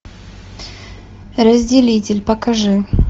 разделитель покажи